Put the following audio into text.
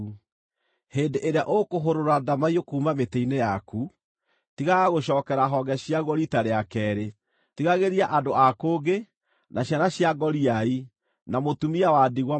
Hĩndĩ ĩrĩa ũkũhũrũra ndamaiyũ kuuma mĩtĩ-inĩ yaku, tigaga gũcookera honge ciaguo riita rĩa keerĩ. Tigagĩria andũ a kũngĩ, na ciana cia ngoriai, na mũtumia wa ndigwa matigari.